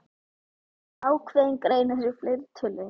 Ákveðinn greinir í fleirtölu.